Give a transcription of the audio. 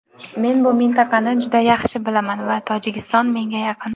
Men bu mintaqani juda yaxshi bilaman va Tojikiston menga yaqin.